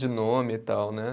De nome e tal, né?